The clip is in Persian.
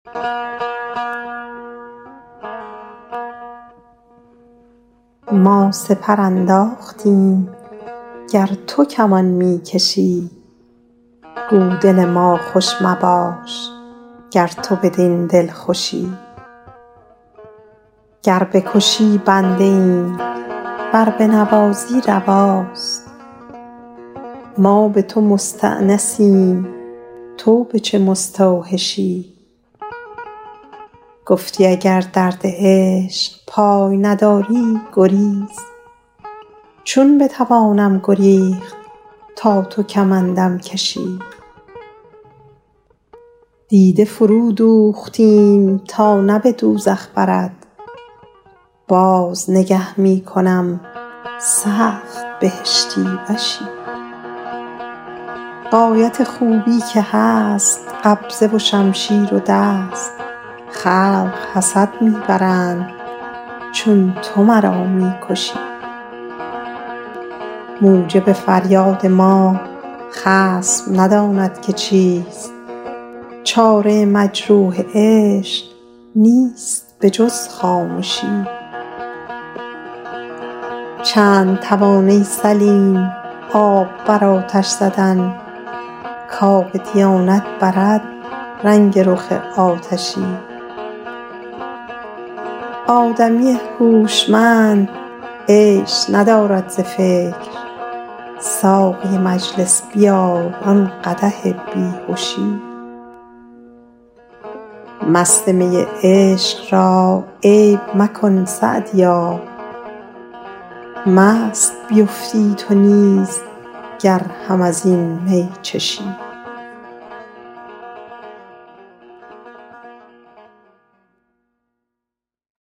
ما سپر انداختیم گر تو کمان می کشی گو دل ما خوش مباش گر تو بدین دلخوشی گر بکشی بنده ایم ور بنوازی رواست ما به تو مستأنسیم تو به چه مستوحشی گفتی اگر درد عشق پای نداری گریز چون بتوانم گریخت تا تو کمندم کشی دیده فرودوختیم تا نه به دوزخ برد باز نگه می کنم سخت بهشتی وشی غایت خوبی که هست قبضه و شمشیر و دست خلق حسد می برند چون تو مرا می کشی موجب فریاد ما خصم نداند که چیست چاره مجروح عشق نیست به جز خامشی چند توان ای سلیم آب بر آتش زدن کآب دیانت برد رنگ رخ آتشی آدمی هوشمند عیش ندارد ز فکر ساقی مجلس بیار آن قدح بی هشی مست می عشق را عیب مکن سعدیا مست بیفتی تو نیز گر هم از این می چشی